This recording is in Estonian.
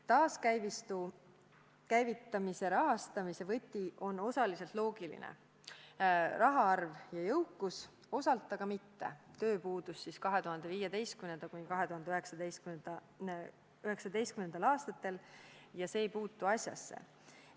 Taaskäivitamise rahastu võti on osaliselt loogiline – rahvaarv ja jõukus –, osalt aga mitte – tööpuudus 2015.–2019. aastal, mis ei puutu asjasse.